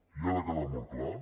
i ha de quedar molt clar